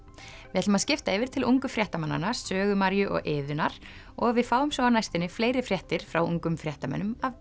við ætlum að skipta yfir til ungu fréttamannanna Sögu Maríu og Iðunnar og við fáum svo á næstunni fleiri fréttir frá ungum fréttamönnum af